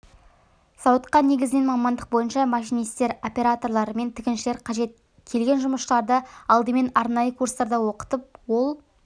зауытқа негізінен мамандық бойынша машинистер операторлар мен тігіншілер қажет келген жұмысшыларды алдымен арнайы курстарда оқытып ол